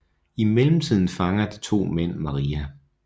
I mellemtiden fanger de to mænd Maria